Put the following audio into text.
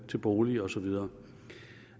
til bolig og så videre